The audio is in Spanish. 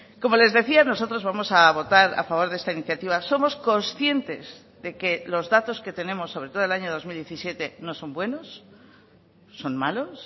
como les decía nosotros vamos a votar a favor de esta iniciativa somos conscientes de que los datos que tenemos sobre todo el año dos mil diecisiete no son buenos son malos